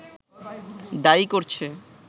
দায়ী করছে